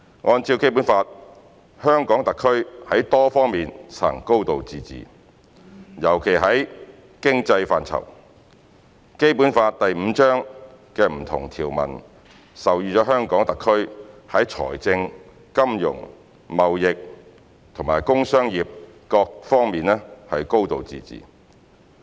按照《基本法》，香港特區在多方面實行"高度自治"，尤其在經濟範疇，《基本法》第五章的不同條文授予香港特區在財政、金融、貿易和工商業各方面"高度自治"。